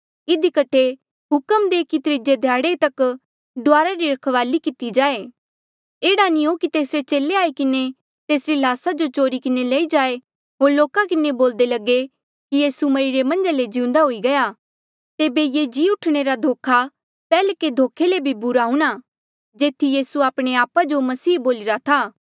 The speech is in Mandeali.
इधी कठे हुक्म दे कि त्रीजे ध्याड़े तक डुआरा री रखवाली किती जाए एह्ड़ा नी हो कि तेसरे चेले आई किन्हें तेसरी ल्हासा जो चोरी किन्हें लई जाए होर लोका किन्हें बोल्दे लगे कि यीसू मरिरे मन्झा ले जीउन्दा हुई गया तेबे ये जी उठणे रा धोखा पैह्ल्के धोखे ले भी बुरा हूंणां जेथी यीसू आपणे आपा जो मसीहा बोलिरा था